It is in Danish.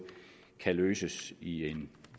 kan løses i en